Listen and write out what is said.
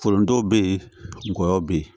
Foronto bɛ yen ngɔyɔ bɛ yen